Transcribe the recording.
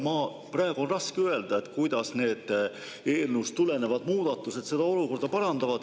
Praegu on raske öelda, kuidas need eelnõust tulenevad muudatused seda olukorda parandavad.